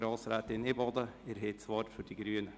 Grossrätin Imboden, Sie haben das Wort für die Grünen.